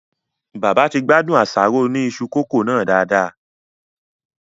Bàbá ti gbádùn àsáró Oni isu coco nàá dádà